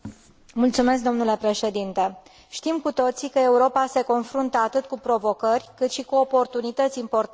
Știm cu toții că Europa se confruntă atât cu provocări, cât și cu oportunități importante în ceea ce privește materiile prime.